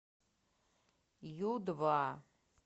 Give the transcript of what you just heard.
ю два